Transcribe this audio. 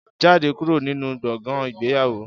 Jáde kúrò nínú gbọ̀ngàn ìgbéyàwó